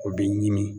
O bɛ ɲini